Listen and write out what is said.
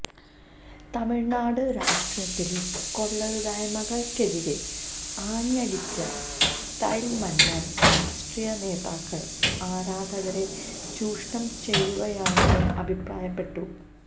തമിഴ്നാട് രാഷ്ട്രീയത്തിലെ കൊള്ളരുതായ്മകള്ക്കെതിരെ ആഞ്ഞടിച്ച സ്റ്റൈല് മന്നന് രാഷ്ട്രീയനേതാക്കള് ആരാധകരെ ചൂഷണം ചെയ്യുകയാണെന്നും അഭിപ്രായപ്പെട്ടു